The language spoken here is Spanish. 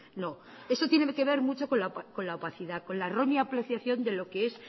no eso tiene que ver mucho con la opacidad con la roña apreciación de lo que es